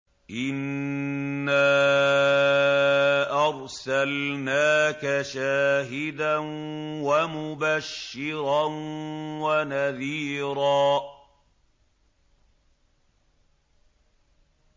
إِنَّا أَرْسَلْنَاكَ شَاهِدًا وَمُبَشِّرًا وَنَذِيرًا